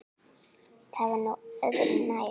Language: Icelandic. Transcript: Það var nú öðru nær.